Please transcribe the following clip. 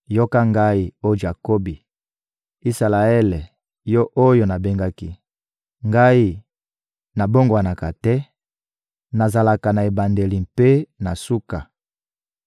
Yoka Ngai, oh Jakobi, Isalaele, yo oyo nabengaki! Ngai, nabongwanaka te; nazalaka na ebandeli mpe na suka.